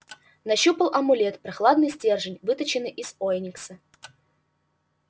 нащупал амулет прохладный стержень выточенный из оникса